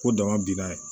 Ko dama binna